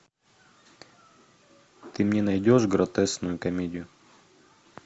ты мне найдешь гротескную комедию